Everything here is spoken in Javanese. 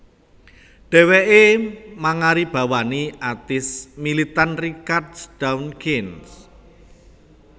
Dhèwèké mangaribawani atéis militan Richard Dawkins